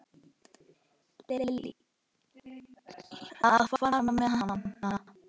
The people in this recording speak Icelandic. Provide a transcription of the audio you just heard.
Lillý: Að fara með hana?